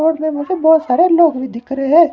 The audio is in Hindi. फोन में मुझे बहोत सारे लोग भी दिख रहे हैं।